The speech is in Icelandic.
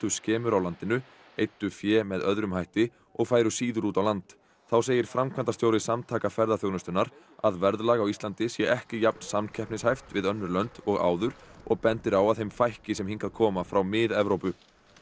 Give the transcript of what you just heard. skemur á landinu eyddu fé með öðrum hætti og færu síður út á land þá segir framkvæmdastjóri Samtaka ferðaþjónustunnar að verðlag á Ísland sé ekki jafn samkeppnishæft við önnur lönd og áður og bendir á að þeim fækki sem hingað koma frá Mið Evrópu